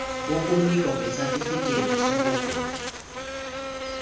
wokunikwa kwesatifikhethi sokugula